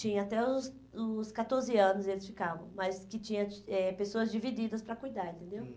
Tinha, até os os catorze anos eles ficavam, mas que tinha eh pessoas divididas para cuidar, entendeu?